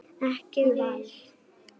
Ekki viss